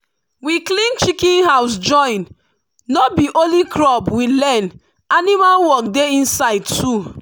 we clean chicken house join no b e only crop we learn animal work dey inside too.